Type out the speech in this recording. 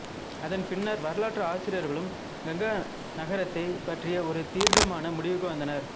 அதன் பின்னர் வரலாற்று ஆசிரியர்களும் கங்கா நகரத்தைப் பற்றி ஒரு தீர்க்கமான முடிவுக்கு வந்தனர்